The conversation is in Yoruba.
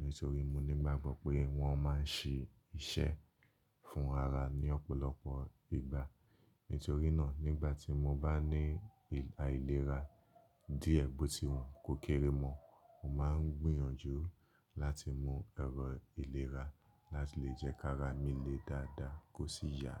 nítorí mo ní gbágbọ́ pé wọ́n máa ń ṣe iṣẹ́ fún ara ní ọ̀pọ̀lọpọ̀ igba. Nítorí náà, nígbà tí mo bá ní aìlera díẹ̀ bó ti wà kó kéré mọ́, mo máa ń gbìyànjú láti mu ẹ̀rọ ìlera láti lè jẹ́ ká ara mi le dáadáa kó sì yà.